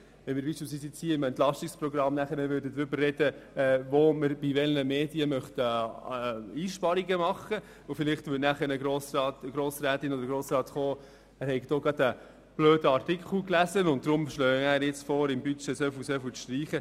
Wenn wir dann beispielsweise im EP darüber sprechen würden, bei welchen Medien wir Einsparungen machen möchten, würde vielleicht ein Ratsmitglied anführen, dass er oder sie gerade einen blöden Artikel gelesen habe, und aus diesem Grund vorschlage, man könne bei der entsprechenden Zeitung so und so viel aus dem Budget streichen.